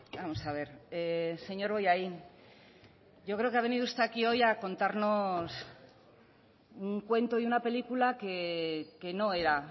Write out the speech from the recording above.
vamos a ver señor bollain yo creo que ha venido usted aquí hoy a contarnos un cuento y una película que no era